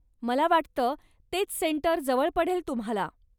मला वाटतं तेच सेंटर जवळ पडेल तुम्हाला.